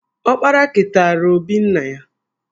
Ọkpara keteara obi nna ya